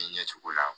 ɲɛ cogo la